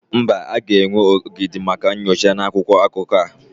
Mba, a ga-enwe ogidi maka nyocha na akwụkwọ akụkọ a.